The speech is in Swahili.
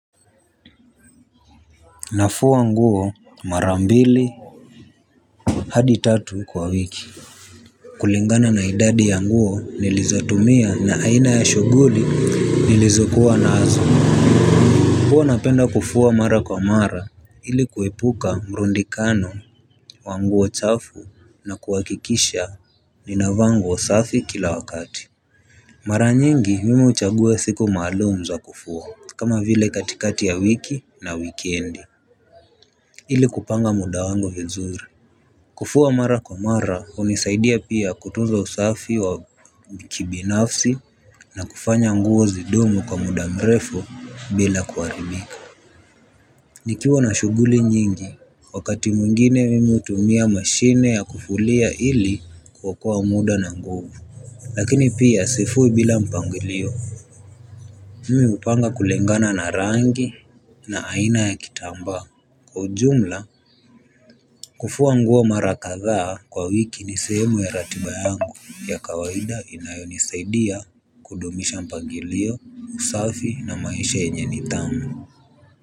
Nafua nguo mara mbili hadi tatu kwa wiki kulingana na idadi ya nguo nilizatumia na aina ya shuguli nilizokuwa nazo huwa napenda kufua mara kwa mara ili kuepuka mrundikano wa nguo chafu na kuhakikisha ninavaa nguo osafi kila wakati mara nyingi mimu uchagua siku maalum za kufua kama vile katikati ya wiki na wikendi ili kupanga muda wangu vizuri. Kufua mara kwa mara unisaidia pia kutunza usafi wa kibinafsi na kufanya nguo zidumu kwa muda mrefu bila kuharibika. Nikiwa na shuguli nyingi wakati mwingine mimi utumia mashine ya kufulia ili kuokoa muda na nguvu. Lakini pia sifui bila mpangilio. Mimi upanga kulingana na rangi na aina ya kitamba. Kwa ujumla, kufua nguo mara kadha kwa wiki ni sehemu ya ratiba yangu ya kawaida inayonisaidia kudumisha mpagilio, usafi na maisha yenye nidhamu.